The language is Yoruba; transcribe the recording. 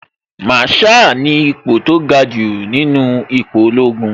Màrsháà ni ipo tó ga jù nínú ipò ológun